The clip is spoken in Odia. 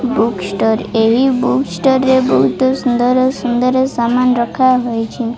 ବୁକଷ୍ଟୋର ରେ ଏହି ବୁକଷ୍ଟୋର ରେ ବହୁତ ସୁନ୍ଦର ସୁନ୍ଦର ସାମାନ ରଖାହୋଇଛି।